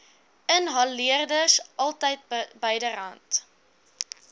inhaleerders altyd byderhand